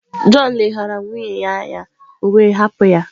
John leghaara nwunye ya anya, o wee hapụ ya.